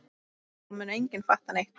Það mun enginn fatta neitt.